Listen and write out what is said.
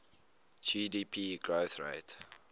gdp growth rate